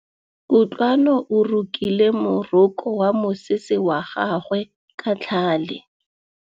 Kutlwanô o rokile morokô wa mosese wa gagwe ka tlhale.